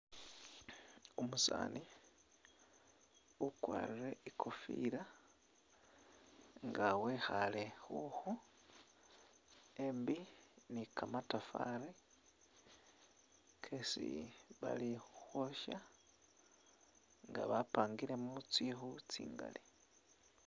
Umusani ukwarire ikofila nga wekhale khukhu embi ni kamatafali kesi bali khukhosha nga bapangilemo tsikhu tsingali.